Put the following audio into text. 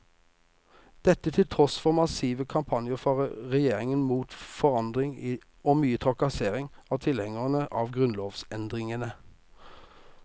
Dette til tross for massive kampanjer fra regjeringen mot forandring og mye trakassering av tilhengerne av grunnlovsendringene.